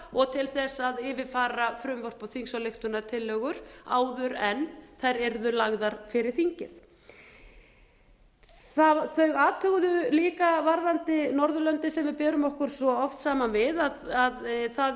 og til þess að yfirfara frumvörp og þingsályktunartillögur áður en þær yrðu lagðar fyrir þingið þau athuguðu líka varðandi norðurlöndin sem við berum okkur svo oft saman við að það